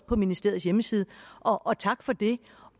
på ministeriets hjemmeside